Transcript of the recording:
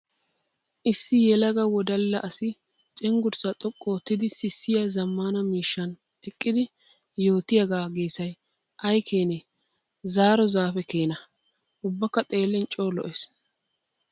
Issi yelaga wodalla asi cenggurssa xoqu oottiddi sissiya zamaana miishshan eqqiddi yootiyaaga geesay ay keenne, zaaro zaafiya keena! Ubbakka xeelin coo lo'ees.